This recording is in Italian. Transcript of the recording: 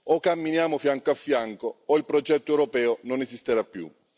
O camminiamo fianco a fianco, o il progetto europeo non esisterà più.